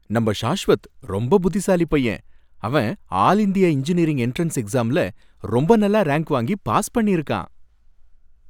நம்ப ஷாஷ்வத் ரொம்ப புத்திசாலி பையன், அவன் ஆல் இந்தியா இன்ஜினியரிங் என்ட்ரன்ஸ் எக்ஸாம்ல ரொம்ப நல்ல ராங்க் வாங்கி பாஸ் பண்ணி இருக்கான்.